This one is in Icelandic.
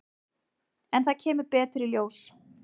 En það kemur betur í ljós.